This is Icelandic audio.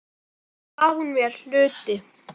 Svo gaf hún mér hluti.